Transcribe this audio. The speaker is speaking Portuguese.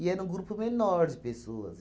era um grupo menor de pessoas.